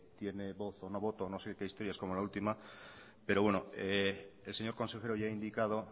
tiene voz o no voto o no sé qué historias como la última pero bueno el señor consejero ya ha indicado